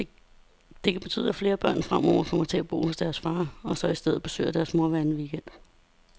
Det kan betyde, at flere børn fremover kommer til at bo hos deres far, og så i stedet besøger deres mor hver anden weekend.